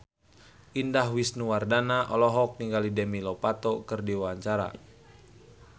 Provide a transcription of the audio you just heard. Indah Wisnuwardana olohok ningali Demi Lovato keur diwawancara